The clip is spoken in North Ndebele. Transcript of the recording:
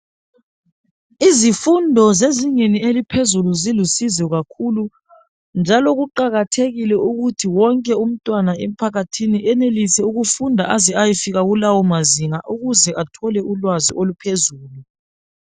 Izifundo zezingeni eliphezulu zilusizo kakhulu njalo kuqakathekile ukuthi wonke umntwana emphakathini enelise ukufunda aze ayefika kulawo mazinga ukuze athole ulwazi oluphezulu.